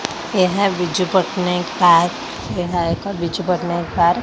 ଏହା ବିଜୁ ପଟ୍ଟନାୟକ ପାର୍କ ଏହା ଏକ ବିଜୁ ପଟ୍ଟନାୟକ ପାର୍କ --